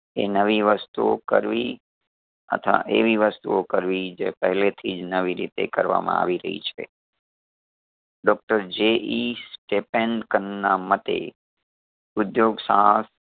એ નવી વસ્તુઓ કરવી અથવા એવી વસ્તુઓ કરવી જે પહેલેથીજ નવીરીતે કરવામાં આવી રહી છે ડોક્ટર જે ઈ સટેપેનડકર ના મતે ઉધ્યોગ સાહસ